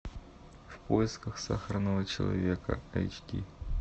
в поисках сахарного человека эйч ди